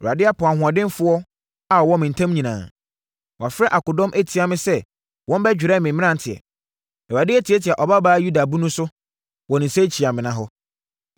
“Awurade apo ahoɔdenfoɔ a wɔwɔ me ntam nyinaa; wafrɛ akodɔm atia me sɛ wɔmmɛdwɛre me mmeranteɛ. Awurade atiatia Ɔbabaa Yuda Bunu so wɔ ne nsakyiamena hɔ.